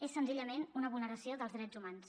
és senzillament una vulneració dels drets humans